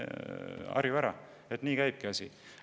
Harju ära, asi käibki nii.